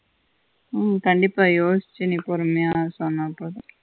உம் கண்டிப்பா யோசிச்சி நீ பொறுமையா சொன்னா போதும்